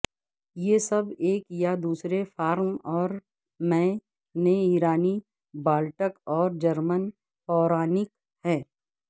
یہ سب ایک یا دوسرے فارم اور میں نے ایرانی بالٹک اور جرمن پورانیک ہیں